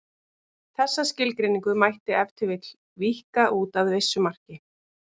Þessa skilgreiningu mætti ef til vill víkka út að vissu marki.